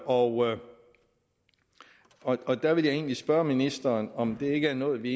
og og der ville jeg egentlig spørge ministeren om det ikke er noget vi